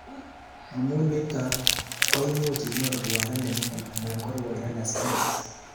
Amu nito koimuch inyoru rwondo nemining anan ko rwondo ne samis